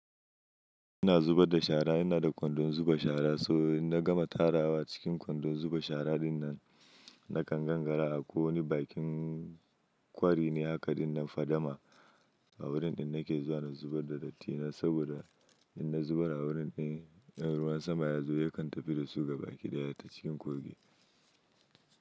Ina zuba da shara, ina da kwandon zuba shara, so in na gama tarawa cikin kwandon zuba shara dinnan, nakan gangara a ko wani bakin kwari ne haka dinnan fadama a wurin ina ke zuwa na zubar da dattina saboda in na zubar a wurin din, in ruwan sama ya zo yakan tafi da su gabaki ɗaya ta cikin kogi.